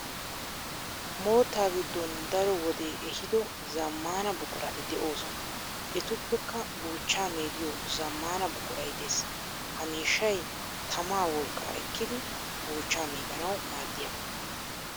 Moottaa giddon daro wodee ehido zammaana buqurati de'oosona etuppekka buuchaa meediyo zammaana buquray de'es. Ha miishshay tamaa wolqqaa ekkidi buchchaa meedanawu maaddiyaagaa.